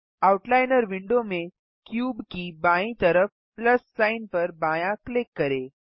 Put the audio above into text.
out liner window में cube की बायीं तरफ प्लस सिग्न पर बायाँ क्लिक करें